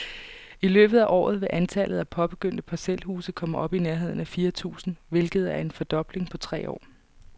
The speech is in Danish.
I løbet af året vil antallet af påbegyndte parcelhuse komme op i nærheden af fire tusind, hvilket er en fordobling på tre år.